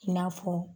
I n'a fɔ